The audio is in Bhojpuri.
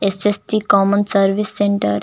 SSC common service centre .